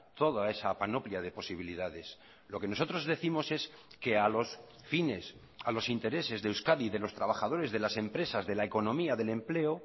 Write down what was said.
toda esa panoplia de posibilidades lo que nosotros décimos es que a los fines a los intereses de euskadi y de los trabajadores de las empresas de la economía del empleo